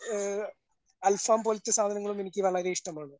ഏഹ് അൽഫാം പോലത്തെ സാധനങ്ങളും എനിക്ക് വളരെ ഇഷ്ടമാണ്.